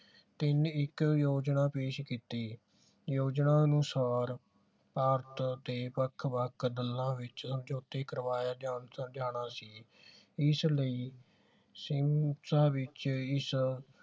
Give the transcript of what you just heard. ਤਿੰਨ ਏਕੜ ਯੋਜਨਾ ਪੇਸ਼ ਕੀਤੀ ਯੋਜਨਾ ਅਨੁਸਾਰ ਭਾਰਤ ਦੇ ਵੱਖ ਵੱਖ ਦਲਾਂ ਵਿਚ ਸਮਝੌਤੇ ਕਰਵਾਇਆ ਜਾਣ ਜਾਣਾ ਸੀ ਇਸ ਲਈ ਵਿਚ ਇਸ